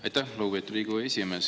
Aitäh, lugupeetud Riigikogu esimees!